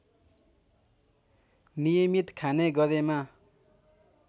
नियमित खाने गरेमा